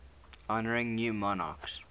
honouring new monarchs